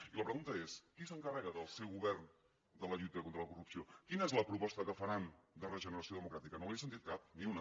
i la pregunta és qui s’encarrega del seu govern de la lluita contra la corrupció quina és la proposta que faran de regeneració democràtica no n’hi he sentit cap ni una